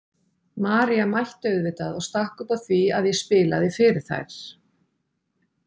María mætti auðvitað og stakk upp á því að ég spilaði fyrir þær.